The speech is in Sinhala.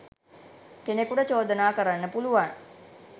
කෙනෙකුට චෝදනා කරන්න පුළුවන්.